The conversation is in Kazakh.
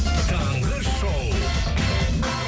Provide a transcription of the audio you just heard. таңғы шоу